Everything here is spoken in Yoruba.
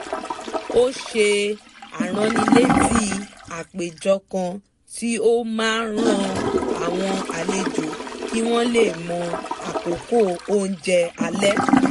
ó ṣe aránilétí àpèjọ kan tí ó máa rán àwọn àlejò kí wọ́n lè mọ àkókò oúnjẹ alẹ́